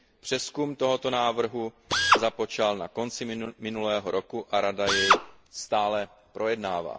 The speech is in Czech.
Přezkum tohoto návrhu započal na konci minulého roku a Rada jej stále projednává.